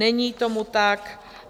Není tomu tak.